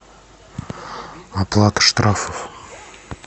оплата штрафов